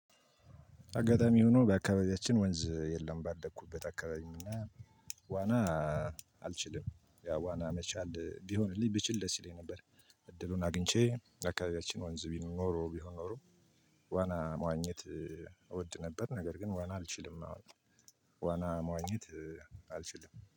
አጋጣሚ ሆኖ በአካባቢያችን ወንዝ የለም ባደኩበት አካባቢ እና ዋና አልችልም ያው ዋና መቻል ቢሆንልኝ ብችል ደስ ይለኝ ነበር። እድሉን አግኝቼ አካባቢያችን ወንዝ ቢሆን ኖሮ ቢሆን ኖሮ ዋና መዋኘት እወድ ነበር። ነገር ግን ዋና አልችልም አሁን ዋና መዋኘት አልችልም